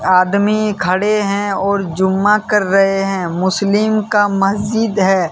आदमी खड़े हैं और जुम्मा कर रहे हैं मुस्लिम का मस्जिद है।